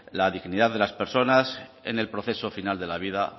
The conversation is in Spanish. la dignidad de las personas en el proceso final de la vida